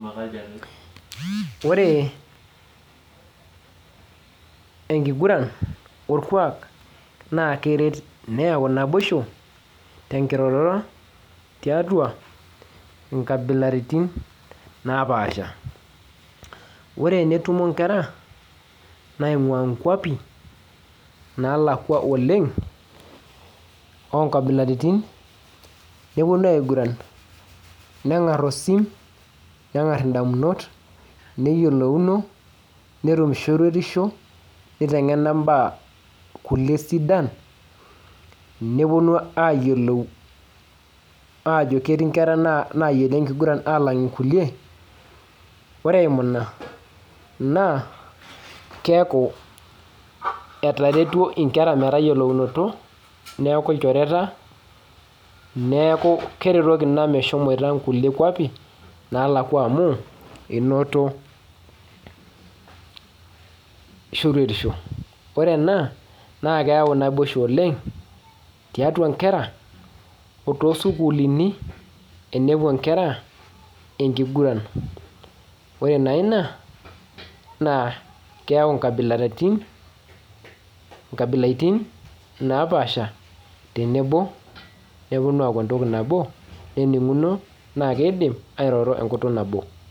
Ore enkiguran orkuak naa kereet neyau naboisho tenkiroroto tiatua inkabilaritin napaasha ore tenetuo inkera naingua inkuapi naalakua oleng oo nkabilaritin neponu aiguran nengarr osim nengarr indamunot neyioouno netum shoruetisho neitengena mbaa kulie sidan neponu ayiolou ajoo ketii ikera nayiolo enkiguran alang kulie ore eimuu naa naa keeku etaretuo inkera metayiolounoto neeku ilchoreta neeku keretoki inaa meshomoita inkulie kuapi naalakua amuu enoto shoruetisho ore ena naa keyau naboisho oleng tiatua inkeraa oo to sukulini tenepuo nkera enkiguran oree naa inaa na keyau inkabilaritin napaasha tenebo neponu aku entoki nabo neninguno naa keidim airoro enkutuk nabo.